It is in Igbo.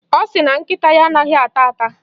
Ọ sị na nkịta ya anaghị ata ata.